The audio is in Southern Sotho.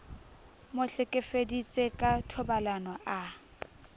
mo hlekefeditse ka thobalano a